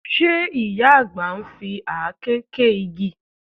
Ṣe ìyá àgbà ń fi àáké gé igi?